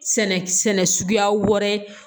Sɛnɛ sɛnɛ suguya wɛrɛ